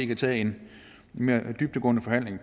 kan tage en mere dybtgående forhandling